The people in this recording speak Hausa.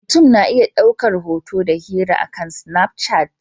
Mutum na iya ɗaukar hoto da hira akan Snapchat.